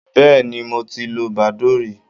Bẹ́ẹ̀ni, mo ti lo badoo rí.